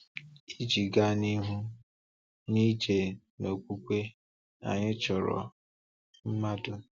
Iji gaa n’ihu n’ịje n’okwukwe, anyị chọrọ mmanụ.